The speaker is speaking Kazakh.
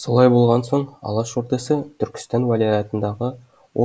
солай болған соң алаш ордасы түркістан уәлаятындағы